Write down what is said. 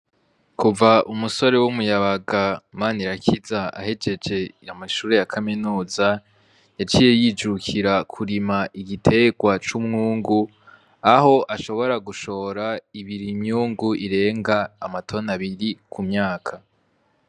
Kuva umusore w’umuyabaga Manirakiza ahejeje amashuri yiwe ya Kaminuza , yaciye yijukira kurima igiterwa c’umwungu Aho ashobora gushora imyungu irenga amatoni abiri ku myaka .